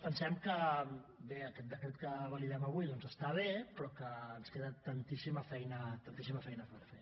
pensem que bé aquest decret que validem avui doncs està bé però que ens queda tantíssima feina tantíssima feina per fer